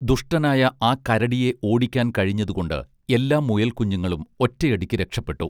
ദുഷ്ടനായ ആ കരടിയെ ഓടിക്കാൻ കഴിഞ്ഞതുകൊണ്ട് എല്ലാ മുയൽക്കുഞ്ഞുങ്ങളും ഒറ്റയടിക്ക് രക്ഷപ്പെട്ടു